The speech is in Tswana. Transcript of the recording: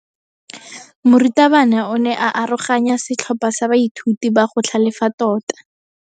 Morutabana o ne a aroganya setlhopha sa baithuti ba go tlhalefa tota.